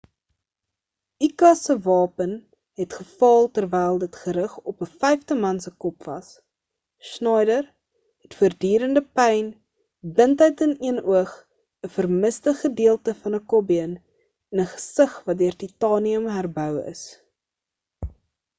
uka se wapen het gefaal terwyl dit gerig op 'n vyfde man se kop was schneider het voordurende pyn blindheid in een oog 'n vermiste gedeelte van 'n kopbeen en 'n gesig wat deur titanium herbou is